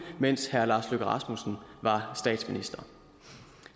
mens herre lars løkke rasmussen var statsminister